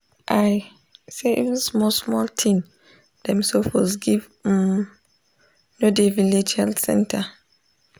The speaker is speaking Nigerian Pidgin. i say even small small thing dem suppose give um no dey village health center.